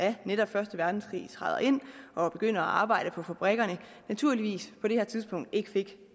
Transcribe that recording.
af netop første verdenskrig træder ind og begynder at arbejde på fabrikkerne naturligvis på det her tidspunkt ikke